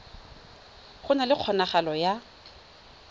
go na le kgonagalo ya